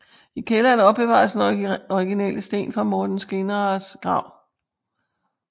I kælderen opbevares den originale sten fra Mårten Skinnares grav